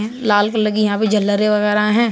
हैं लाल कलर की यहां पे झालरें वगैरह हैं।